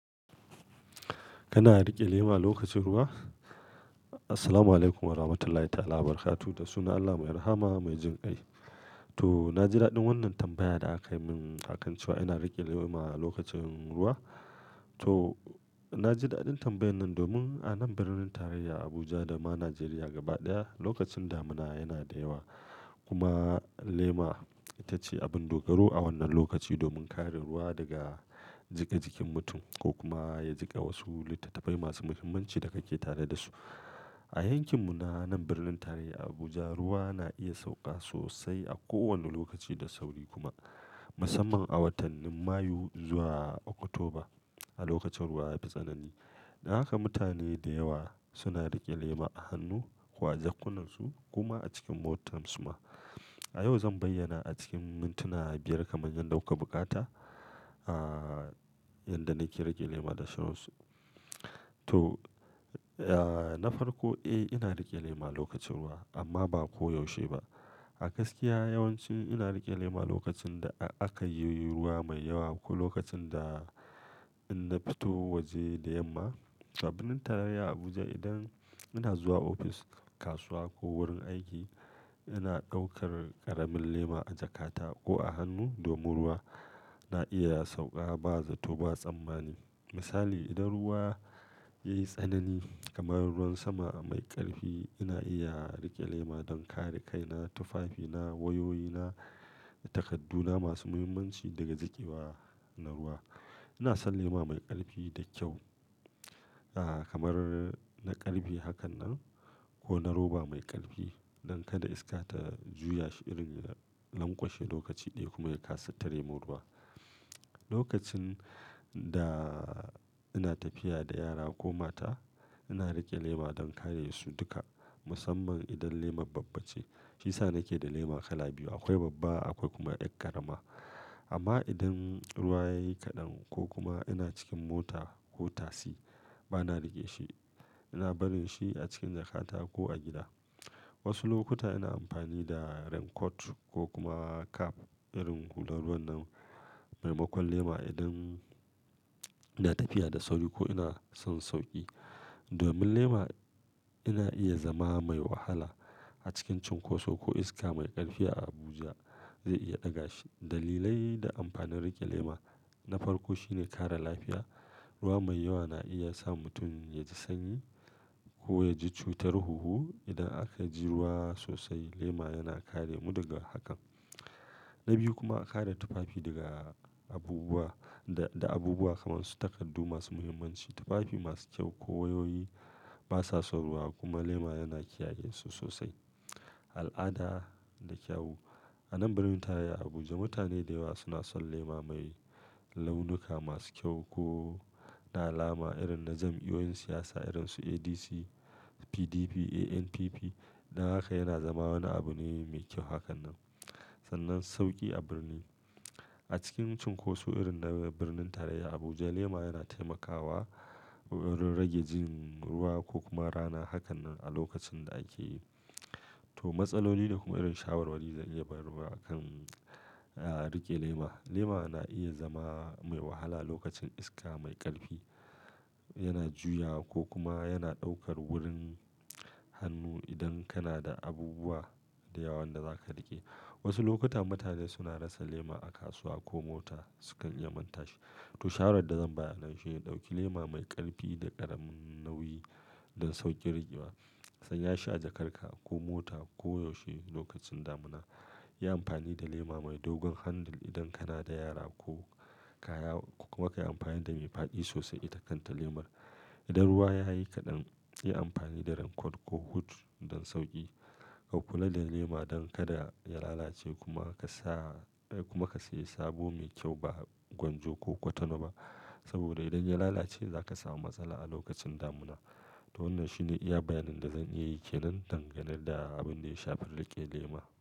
Kana riƙe lema lokacin ruwa? Assalamualaikum Warahmatullahi Ta'ala Wabarakatuh. Da sunan Allah Mai Rahama Mai Jin kai. To, na ji daɗin wannan tambaya da aka yi min a kan cewa ina riƙe lema a lokacin ruwa. To, na ji daɗin tambayar nan domin a nan birnin tarayya Abuja dama Najeriya gaba ɗaya lokacin damina yana da yawa. Kuma lema ita ce abin dogaro a wannan lokaci domin kare ruwa daga jika jikin mutum ko kuma ya jika wasu littattafai masu muhimmanci da kake tare da su. A yankinmu na nan birnin tarayya Abuja, ruwa na iya sauƙa sosai a kowane lokaci da sauri kuma, musamman a watannin Mayu zuwa Oktoba a lokacin ruwa ya fi tsanani. Dan haka mutane da yawa suna riƙe lema a hannu ko a jakkunansu koma a cikin motar su ma. A yau zan bayyana a cikin mintuna biyar kamar yadda kuka bukata, ah, yadda nake riƙe lema da shauransu. To na farko, eh, ina riƙe lema lokacin ruwa amma ba koyaushe ba. A gaskiya yawancin ina riƙe lema lokacin da aka yi ruwa mai yawa ko lokacin da in na fito waje da yamma. A birnin tarayya Abuja idan ina zuwa ofis, kasuwa ko wurin aiki ina ɗaukar ƙaramin lema a jakata ko a hannu domin ruwa na iya ya sauƙa ba zato ba tsammani. Misali, idan ruwa yayi tsanani kamar ruwan sama mai ƙarfi ina iya riƙe lema don kare kaina, tufafina, wayoyina da takaddu na masu muhimmanci daga jikewa na ruwa. Ina son lema mai ƙarfi da kyau, kamar na ƙarfe hakan nan ko na roba mai ƙarfi don kada iska ta juyashi irin ya lanƙwashe lokaci ɗaya kuma ya kasa tare mun ruwa. Lokacin da ina tafiya da yara ko mata ina riƙe lema don kare su duka musamman idan lemar babba ce. Shiyasa nake da lema kala biyu. Akwai babba akwai kuma yar ƙarama. Amma idan ruwa yayi kaɗan ko kuma ina cikin mota ko tasi bana riƙe shi. Ina barin shi a cikin jakata ko a gida. Wasu lokuta ina amfani da raincoat ko kuma cap irin hular ruwan nan maimakon lema idan ina tafiya da sauri ko ina son sauƙi. Domin lema yana iya zama mai wahala a cikin cunkoso ko iska mai ƙarfi a Abuja, zai iya ɗaga shi. Dalilai da amfanin riƙe lema na farko shine kare lafiya. Ruwa mai yawa na iya sa mutum yaji sanyi ko yaji cutar huhu idan aka ji ruwa sosai lema yana kare mu daga hakan. Na biyu kuma kare tufafi daga abubuwa, da abubuwa kamar su takardu masu muhimmanci. Tufafi masu kyau ko wayoyi basa son ruwa kuma lema yana kiyaye su sosai. Al'ada da kyau. A nan birnin tarayya Abuja mutane da yawa suna son lema mai launuka masu kyau ko na alama irin na jam'iyoyin siyasa irin su ADC, PDP, ANPP. Dan haka yana zama wani abu ne mai kyau hakan nan. Sannan sauƙi a birni. A cikin cunkoso irin na birnin tarayya Abuja lema yana taimakawa rage jin ruwa ko kuma rana. Hakannan a lokacin da ake yi. To, matsaloli da kuma irin shawarwari zan iya bayarwa a kan riƙe lema. Lema na iya zama mai wahala lokacin iska mai ƙarfi. Yana juyawa ko kuma yana ɗaukar wurin hannu idan kana da abubuwa da yawa wanda zaka riƙe. Wasu lokuta mutane suna rasa lema a kasuwa ko mota sukan iya manta shi. To shawarar da zan bayar anan shi ne ɗauki lema mai ƙarfi da ƙaramin nauyi don sauƙin riƙewa. Sanya shi a jakarka ko mota koyaushe lokacin damina. Yi amfani da lema mai dogon handle idan kana da yara ko kaya kuma ka yi amfani da mai faɗi sosai ita kanta lemar. Idan ruwa yayi kaɗan yi amfani da raincoat ko hood don sauƙi. Ka kula da lema don kada ya lalace kuma ka sa, kuma ka sayi sabo mai kyau ba gwanjo ko kwatana ba. Saboda idan ya lalace zaka samu matsala a lokacin damina. To wannan shine iya bayanin da zan iya yi ke nan dangane da abin da ya shafi riƙe lema.